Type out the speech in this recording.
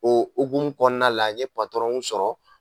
O hukumu kɔnɔna la n ye sɔrɔ